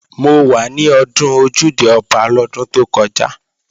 Mo wà ní ọdún Ojúde-Ọba lọ́dún tó kọjá